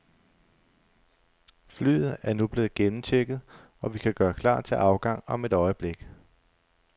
Flyet er nu blevet gennemchecket, og vi kan gøre klar til afgang om et øjeblik.